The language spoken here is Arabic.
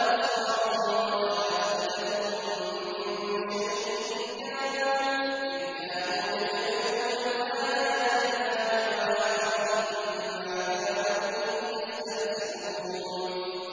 وَلَا أَبْصَارُهُمْ وَلَا أَفْئِدَتُهُم مِّن شَيْءٍ إِذْ كَانُوا يَجْحَدُونَ بِآيَاتِ اللَّهِ وَحَاقَ بِهِم مَّا كَانُوا بِهِ يَسْتَهْزِئُونَ